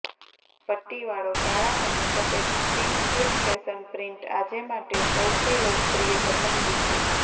પટ્ટીવાળો કાળા અને સફેદ સ્વિમસ્યુટ ફેશન પ્રિન્ટ આજે માટે સૌથી લોકપ્રિય પસંદગી છે